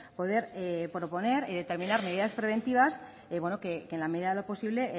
poder proponer determinar medidas preventivas que en la medida de lo posible